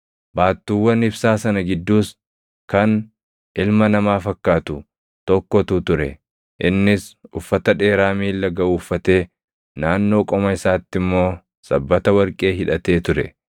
baattuuwwan ibsaa sana gidduus kan, “ilma namaa fakkaatu” + dup 1:13 \+xt Dan 7:13\+xt* tokkotu ture; innis uffata dheeraa miilla gaʼu uffatee, naannoo qoma isaatti immoo sabbata warqee hidhatee ture.